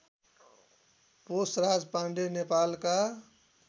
पोषराज पाण्डे नेपालका